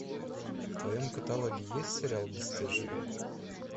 в твоем каталоге есть сериал бесстыжие